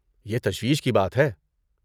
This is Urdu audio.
یہ تشویش کی بات ہے۔